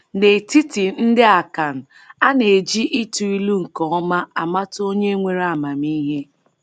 N’etiti ndị Akan, a na-eji ịtụ ilu nke ọma amata onye nwere amamihe.